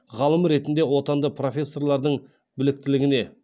ғалым ретінде отанды профессорлардың біліктілігіне